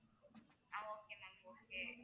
ah okay ma'am okay